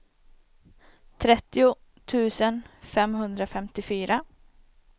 trettio tusen femhundrafemtiofyra